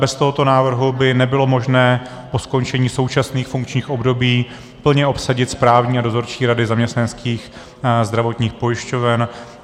Bez tohoto návrhu by nebylo možné po skončení současných funkčních období plně obsadit správní a dozorčí rady zaměstnaneckých zdravotních pojišťoven.